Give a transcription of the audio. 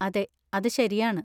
അതെ, അത് ശരിയാണ്.